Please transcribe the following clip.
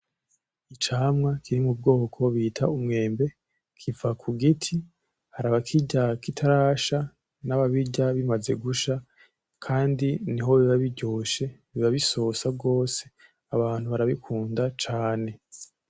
Icamwa kiri mu bwoko bita umwembe kiva ku giti. Hari abakirya kitarasha n’ababirya bimaze gusha kandi niho biba biryoshe, biba bisosa gose. Abantu barabikunda cane.